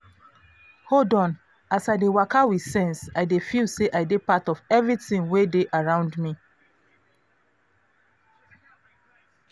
hold on as i dey waka with sense i dey feel say i dey part of everything wey dey around me.